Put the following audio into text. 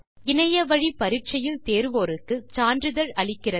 இணைய வழி பரிட்சையில் தேருவோருக்கு சான்றிதழ் அளிக்கிறது